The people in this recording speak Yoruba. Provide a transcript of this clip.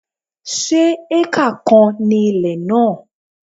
Se acre kan ni ilẹ̀ náà?